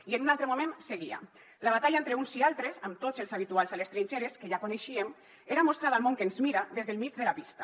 i en un altre moment seguia la batalla entre uns i altres amb tots els habituals a les trinxeres que ja coneixíem era mostrar al món que ens mira des del mig de la pista